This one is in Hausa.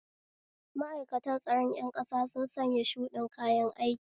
Ma'aikatan tsaron ƴan ƙasa sun sanya shuɗin kayan aiki